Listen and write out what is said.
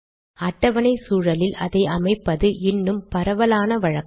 அட்டவணை சூழலில் அதை அமைப்பது இன்னும் பரவலான வழக்கம்